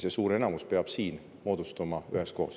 See suur enamus peab moodustuma siin üheskoos.